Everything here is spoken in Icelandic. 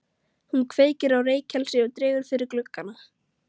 Hún kveikir á reykelsi og dregur fyrir gluggana.